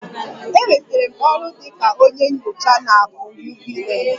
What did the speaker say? Enwetara m ọrụ dị ka onye nyocha na AKỤ UBA